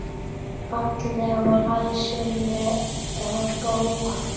Falleg og læsileg bók.